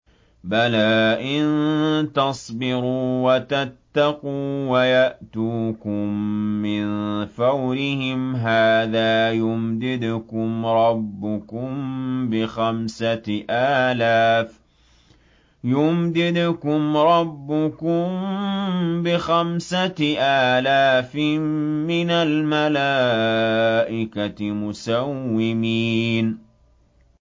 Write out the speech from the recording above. بَلَىٰ ۚ إِن تَصْبِرُوا وَتَتَّقُوا وَيَأْتُوكُم مِّن فَوْرِهِمْ هَٰذَا يُمْدِدْكُمْ رَبُّكُم بِخَمْسَةِ آلَافٍ مِّنَ الْمَلَائِكَةِ مُسَوِّمِينَ